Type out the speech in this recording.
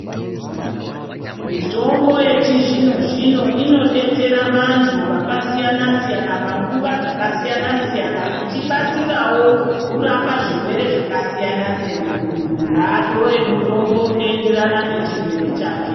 Mitombo yechizvino zvino inodetsere vantu vakasiyana siyana panguva dzakasiyana siyana ichibatsirawo kurapa zvirwere zvakasiyana siyana , muntu ngaatore mutombo unoenderana nechirwere chake .